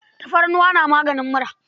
Tafarnuwa na maganin mura.